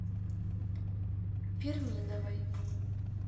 перминовой